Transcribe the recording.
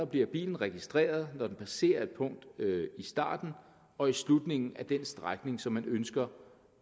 bliver bilen registreret når den passerer et punkt i starten og i slutningen af den strækning som man ønsker